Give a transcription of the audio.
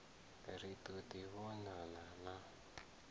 ri ḓo ḓi vhonana na